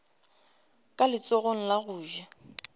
ka letsogong la go ja